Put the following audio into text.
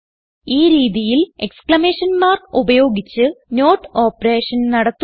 ഈ രീതിയിൽ exclamation mark ഉപയോഗിച്ച് നോട്ട് ഓപ്പറേഷൻ നടത്തുന്നു